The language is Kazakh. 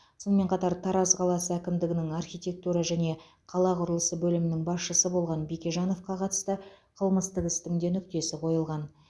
сонымен қатар тараз қаласы әкімдігінің архитектура және қала құрылысы бөлімінің басшысы болған бекежановқа қатысты қылмыстық істің де нүктесі қойылған